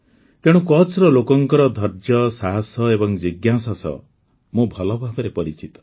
ତେଣୁ କଚ୍ଛ୍ର ଲୋକଙ୍କ ଧୈର୍ଯ୍ୟ ସାହସ ଏବଂ ଜିଜ୍ଞାସା ସହ ମୁଁ ଭଲ ଭାବେ ପରିଚିତ